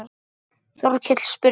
Þórkell spurði